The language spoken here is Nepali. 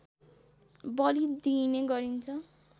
बलि दिइने गरिन्छ